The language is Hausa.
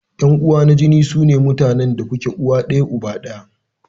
Yan uwa na jini sune mutanen da kuke da uwa ɗaya ko uba ɗaya.